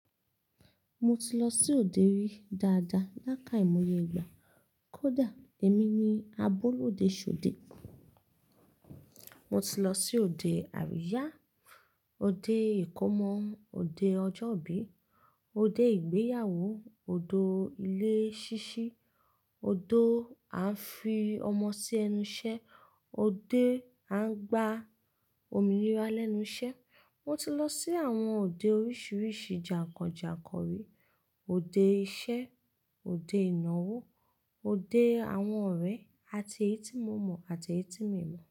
Mo ti lọ sí òde rí dáadáa láká ìmọye ìgbà. Kódà èmi ni abọ́lù òde ṣode. Mo ti lọ sí òde àríyá, òde ìkómọ, òde ọjọ́ ìbí, òde ìgbéyàwó, òdo ilé ṣíṣí, òdo a ń fi ọmọ sí ẹnu iṣẹ́, òde a ń gba òmìnira lẹ́nu iṣẹ́. Mo ti lọ sí àwọn òde oríṣiríṣi jàǹkàn jàǹkàn rí. Òde iṣẹ́, òde ìnáwó, òde àwọn ọ̀rẹ́ àti eyí ti mo mọ̀ àti eyí ti mi mọ̀.